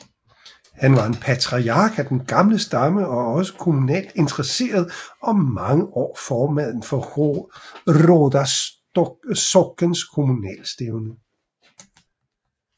Han var en patriark af den gamle stamme og også kommunalt interesseret og mange år formand for Råda sockens kommunalstævne